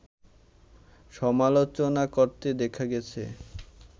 সমালোচনা করতে দেখা গেছে